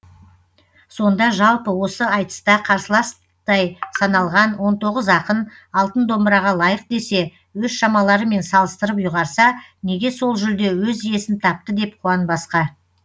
сонда жалпы осы айтыста қарсыластай саналған он тоғыз ақын алтын домбыраға лайық десе өз шамаларымен салыстырып ұйғарса неге сол жүлде өз иесін тапты деп қуанбасқа